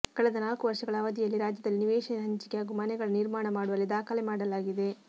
ಕಳೆದ ನಾಲ್ಕು ವರ್ಷಗಳ ಅವಧಿಯಲ್ಲಿ ರಾಜ್ಯದಲ್ಲಿ ನಿವೇಶನ ಹಂಚಿಕೆ ಹಾಗೂ ಮನೆಗಳ ನಿರ್ಮಾಣ ಮಾಡುವಲ್ಲಿ ದಾಖಲೆ ಮಾಡಲಾಗಿದೆ